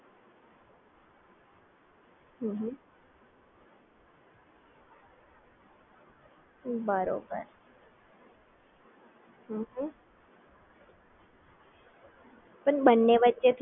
બરોબર સમજી ગઈ. હવે એ જ રીતના ફોનપે વિશે થોડું સમજાવી આપશો, પણ બન્ને વચ્ચે થોડું ડીફરન્સ મને કહેશો કે બંનેમાં ડીફરન્સ શું છે?